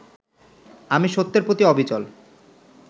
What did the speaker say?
আমি সত্যের প্রতি অবিচল